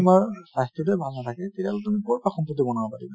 তোমাৰ স্বাস্থ্যটোই ভাল নাথাকে তেতিয়াহʼলে তুমি কʼৰ পৰা সম্পত্তি বনাব পাৰিবা।